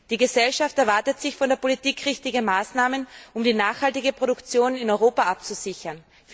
Die Gesellschaft erwartet sich von der Politik richtige Maßnahmen, um die nachhaltige Produktion in Europa abzusichern!